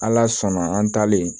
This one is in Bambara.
Ala sɔnna an talen